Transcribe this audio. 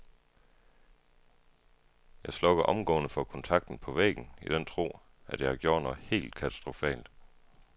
Jeg slukker omgående for kontakten på væggen i den tro, at jeg har gjort noget helt katastrofalt.